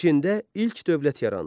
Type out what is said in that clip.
Çində ilk dövlət yarandı.